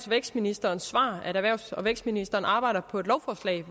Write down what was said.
vækstministerens svar at erhvervs og vækstministeren arbejder på et lovforslag